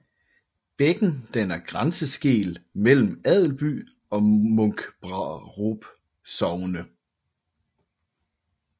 Bækken danner grænseskel mellem Adelby og Munkbrarup Sogne